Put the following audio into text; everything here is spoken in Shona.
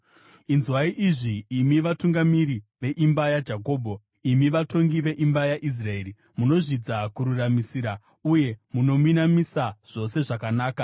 Inzwai izvi, imi vatungamiri veimba yaJakobho, imi vatongi veimba yaIsraeri, munozvidza kururamisira uye munominamisa zvose zvakanaka;